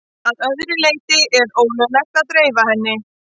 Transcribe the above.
Að öðru leyti er ólöglegt að dreifa henni.